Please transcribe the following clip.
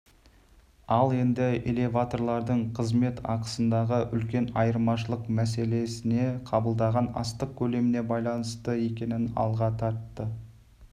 ал енді элеваторлардың қызмет ақысындағы үлкен айырмашылық мәселесіне қабылданған астық көлеміне байланысты екенін алға тартты